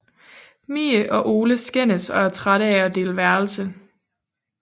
Mie og Ole skændes og er trætte af at dele værelse